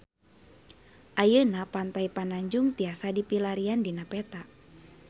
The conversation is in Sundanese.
Ayeuna Pantai Pananjung tiasa dipilarian dina peta